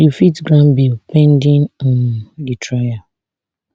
you fit grant bail pending um di trial